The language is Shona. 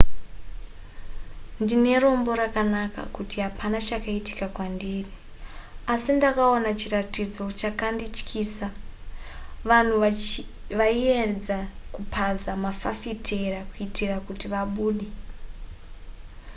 ndine rombo rakanaka kuti hapana chakaitika kwandiri asi ndakaona chiratidzo chakandityisa vanhu vaiedza kupaza mafafitera kuitira kuti vabude